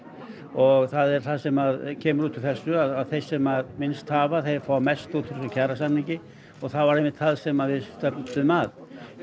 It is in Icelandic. og það er það sem kemur út úr þessu að þeir sem minnst hafa þeir fá mest út úr þessum kjarasamningi og það var einmitt það sem við stefndum að